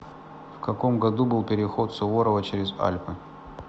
в каком году был переход суворова через альпы